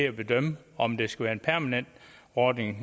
at bedømme om det skal være en permanent ordning